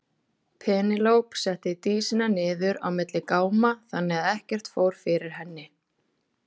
Penélope setti Dísina niður á milli gáma þannig að ekkert fór fyrir henni.